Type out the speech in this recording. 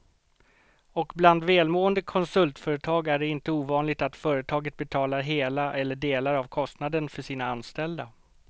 Och bland välmående konsultföretag är det inte ovanligt att företaget betalar hela eller delar av kostnaden för sina anställda.